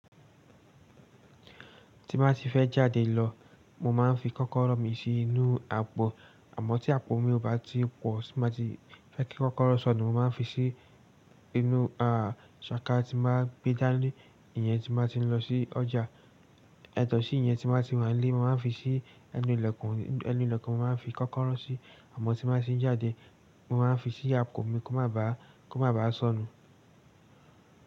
Tí bá tí fẹ́ jáde lọ, mo máa ń fi kọ́kọ́rọ́ mi sí inú àpò. Àmọ́ tí àpò mi ò bá ti pọ̀, tí má tí fẹ́ kí kọ́kọ́rọ́ sọnù, mo máa ń fi sí inú, à, ṣàká tí máa gbé dání, ìyẹn tí máa ti ń lọ sí ọjà. Ẹ̀tọ́ sí ìyẹn tí má tí wá lé, mo máa ń fi sí ẹnu ilẹ̀kùn, ẹnu ilẹ̀kùn mo máa ń fi kọ́kọ́rọ́ sí, àmọ́ tí má sì ń jáde, mo máa ń fi sí àpò mi kó má bàá, kó má bàá sọnù.